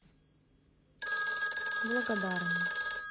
благодарный